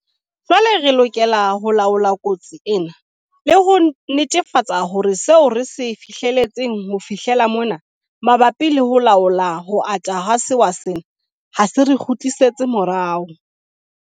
Jwale re lokela ho laola kotsi ena le ho netefatsa hore seo re se fihletseng ho fihlela mona mabapi le ho laola ho ata ha sewa sena ha se re kgutlisetse morao.